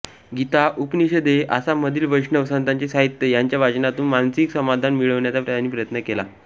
गीता उपनिषदे आसाममधील वैष्णव संतांचे साहित्य ह्यांच्या वाचनातून मानसिक समाधान मिळविण्याचा त्यांनी प्रयत्न केला